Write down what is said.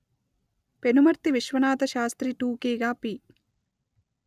పెనుమర్తి విశ్వనాథశాస్త్రి టూకీగా పి